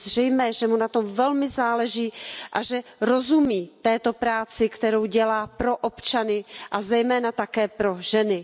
Je zřejmé, že mu na tom velmi záleží a že rozumí této práci, kterou dělá pro občany, a zejména také pro ženy.